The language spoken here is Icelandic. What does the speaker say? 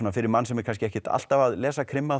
fyrir mann sem er kannski ekkert alltaf að lesa krimma